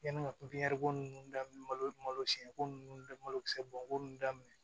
Yanni ka pipiɲɛri nunnu daminɛ malo malo siɲɛko nunnu malokisɛ bɔnbon nunnu daminɛ